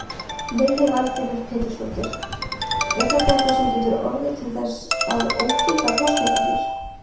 Lillý Valgerður Pétursdóttir: Er þetta eitthvað sem getur orðið til þess að ógilda kosningarnar?